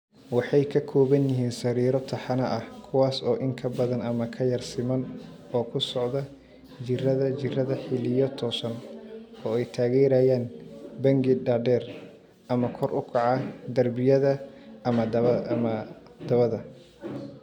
Waxay ka kooban yihiin sariiro taxane ah, kuwaas oo in ka badan ama ka yara siman oo ku socda jiirada jiirada xilliyo toosan, oo ay taageerayaan bangi dhaadheer ama kor u kaca (darbiyada ama dabada).